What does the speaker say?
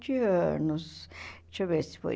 anos. Deixa eu ver se foi